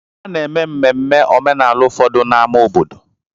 A na-eme mmemme omenala ụfọdụ n'ámá obodo.